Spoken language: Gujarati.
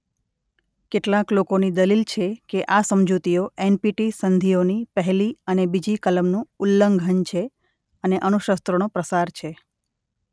કેટલાંક લોકોની દલીલ છે કે આ સમજૂતીઓ એનપીટી સંધિઓની પહેલી અને બીજી કલમનું ઉલ્લંઘન છે અને અણુશસ્ત્રોનો પ્રસાર છે.